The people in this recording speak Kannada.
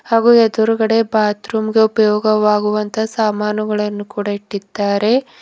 ಹಾಗೂ ಎದುರುಗಡೆ ಬಾತ್ರೂಮ್ಗೆ ಉಪಯೋಗ ಆಗುವ ಸಾಮಾನುಗಳನ್ನು ಇಟ್ಟಿದ್ದಾರೆ.